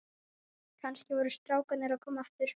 Kannski voru strákarnir að koma aftur.